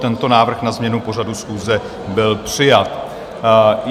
Tento návrh na změnu pořadu schůze byl přijat.